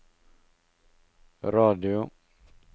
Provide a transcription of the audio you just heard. radio